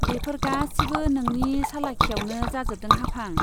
बेफोर गासिबो नोंनि सालाखियावनो जाजोबदों हाफां।